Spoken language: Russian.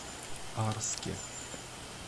арске